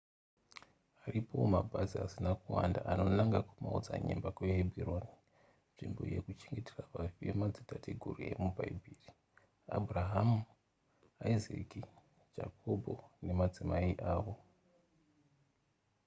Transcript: aripowo mabhazi asina kuwanda anonanga kumaodzanyemba kuhebhuroni nzvimbo yekuchengetera vafi vemadzitateguru emubhaibheri abhurahama isaka jakobho nemadzimai avo